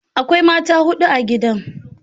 Akwai mata hudu a gidan.